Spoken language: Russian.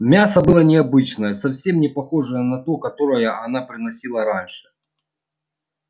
мясо было необычное совсем не похожее на то которое она приносила раньше